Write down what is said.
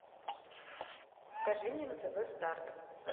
покажи мне на тв старт